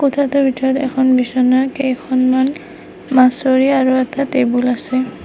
কোঠাটোৰ ভিতৰত এখন বিছনা কেইখনমান আৰু এটা টেবুল আছে।